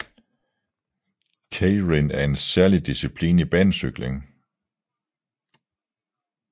Keirin er særlig disciplin i banecykling